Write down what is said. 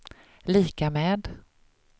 lika med